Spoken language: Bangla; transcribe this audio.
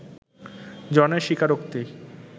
জনের স্বীকারোক্তি